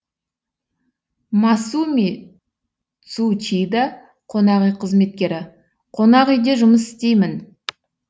масуми цучида қонақүй қызметкері қонақүйде жұмыс істеймін